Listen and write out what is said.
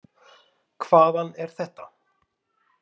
Hvaðan er þetta?